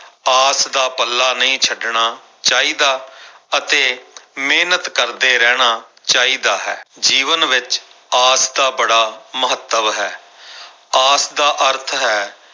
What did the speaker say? ਆਸ ਦਾ ਪੱਲਾ ਨਹੀਂ ਛੱਡਣਾ ਚਾਹੀਦਾ ਅਤੇ ਮਿਹਨਤ ਕਰਦੇ ਰਹਿਣਾ ਚਾਹੀਦਾ ਹੈ, ਜੀਵਨ ਵਿੱਚ ਆਸ ਦਾ ਬੜਾ ਮਹੱਤਵ ਹੈ ਆਸ ਦਾ ਅਰਥ ਹੈ,